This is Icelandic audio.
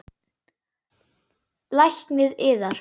LÁRUS: Lækninn yðar?